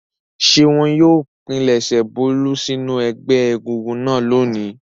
Ṣé wọn yóò pilẹ̀sẹ̀ Bólú sínú ẹgbẹ́ egúngún náà lónìí?